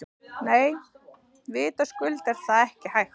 Nei, vitaskuld er það ekki hægt.